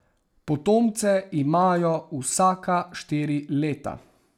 Potomce imajo vsaka štiri leta.